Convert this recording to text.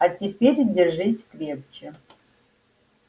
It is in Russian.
а теперь держись крепче